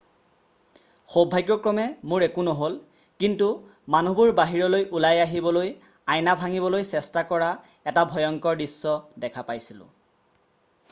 """সৌভাগ্যক্ৰমে মোৰ একো নহ'ল কিন্তু মানুহবোৰ বাহিৰলৈ ওলাই আহিবলৈ আইনা ভাঙিবলৈ চেষ্টা কৰা এটা ভয়ংকৰ দৃশ্য দেখা পাইছিলোঁ।""